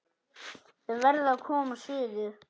Þau verða að koma suður!